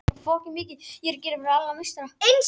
Sértækar aðgerðir duga ekki til